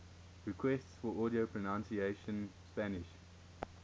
requests for audio pronunciation spanish